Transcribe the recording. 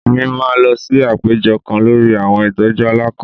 Èmí máa lọ sí àpéjọ kán lórí àwọn ìtọjú àlakán